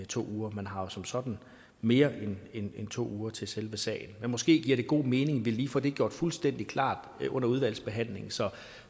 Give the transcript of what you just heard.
to uger man har jo som sådan mere end to uger til selve sagen men måske giver det god mening at vi lige får det gjort fuldstændig klart under udvalgsbehandlingen